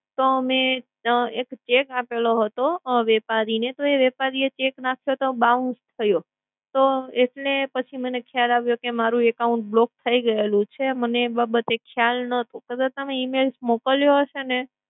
તો મે એક cheque આપેલો હતો વેપારીને, તો એ વેપારી cheque નાખતો તો bounce થયો. તો, એટલે પછી મને ખ્યાલ આવ્યો કે મારૂ account block થઈ ગયેલું છે મને એ બાબતે ખયાલ નતો. કદાચ તમે email મોકલ્યો હશે ને